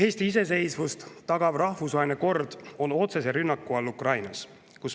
Eesti iseseisvust tagav rahvusvaheline kord on otsese rünnaku all Ukrainas.